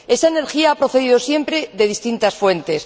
Esa energía ha procedido siempre de distintas fuentes.